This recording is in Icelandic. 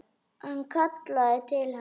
Hann kallaði til hennar.